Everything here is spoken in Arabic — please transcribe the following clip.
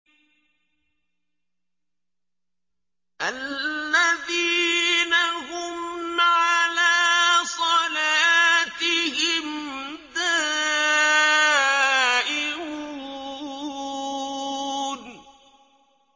الَّذِينَ هُمْ عَلَىٰ صَلَاتِهِمْ دَائِمُونَ